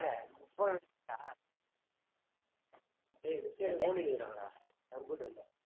டேய் miss ஏதோ நோண்டின்னு இருக்காங்கடா computer ல